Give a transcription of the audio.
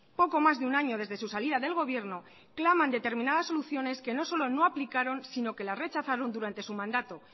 poco más de un año desde su salida del gobierno claman determinadas soluciones que no solo no aplicaron sino que las rechazaron durante su mandato